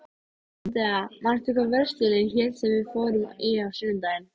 Ég fylgist með henni góða stund, sjúga reyk og spúa.